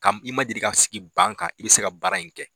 Ka i ma deli sigi ban kan, i bɛ se ka baara in kɛ.